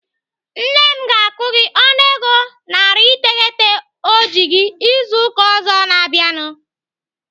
Nne m ga-akwụ gị ọnụego narị iteghete ọ ji gị izu ụka ọzọ na-abịanụ.